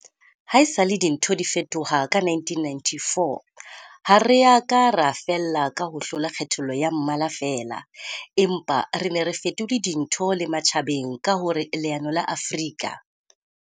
Haesale dintho di fetoha ka 1994, ha re a ka ra fella ka ho hlola kgethollo ya mmala feela, empa re ne re fetole dintho le matjhabeng ka hore leano la Afrika.